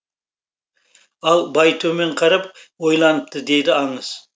ал бай төмен қарап ойланыпты дейді аңыз